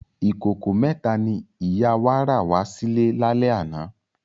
Ikókó mètá ni ìyá wá rá wà silè lálè àná